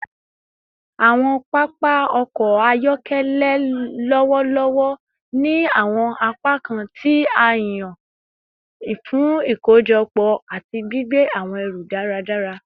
Awọn papa ọkọ ayọkẹlẹ lọwọlọwọ ni awọn apakan ti a yan fun ikojọpọ ati gbigbe awọn ẹru daradara